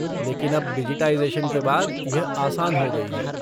लेकिन अब डिजिटाइज़ेशन के बाद, यह आसान हो गई है।